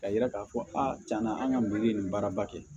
Ka yira k'a fɔ a tiɲɛna an ka me nin baaraba kɛ